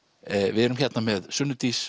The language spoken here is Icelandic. við erum hérna með Sunnu Dís